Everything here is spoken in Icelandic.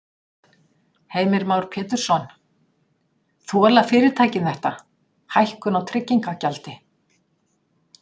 Heimir Már Pétursson: Þola fyrirtækin þetta, hækkun á tryggingagjaldi?